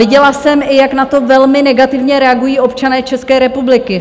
Viděla jsem i, jak na to velmi negativně reagují občané České republiky.